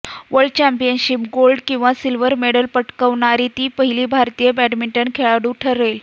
world championship gold किंवा silver medal पटकावणारी ती पहिली भारतीय बॅडमिंटन खेळाडू ठरेल